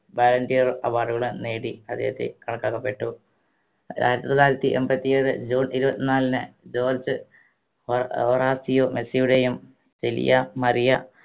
ballon d'or award കൾ നേടി അദ്ദേഹത്തെ കണക്കാക്കപ്പെട്ടു ആയിരത്തി തൊള്ളായിരത്തി എമ്പത്തി ഏഴ് ജൂൺ ഇരുപത്തിനാലിന് ജോർജ് ഏർ റാസിയോ മെസ്സിയുടെയും സിലിയ മറിയ